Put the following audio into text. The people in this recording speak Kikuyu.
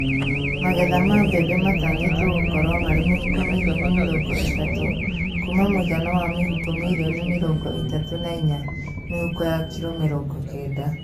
Magetha ma mbembe matanyĩtwo gũkorwo marĩ mĩhuko mirioni mĩrongo ĩtatũ kuma mũigana wa mĩhuko mirioni mirongo ĩtatũ na inya (mĩhuko ya kiro mĩrongo kenda)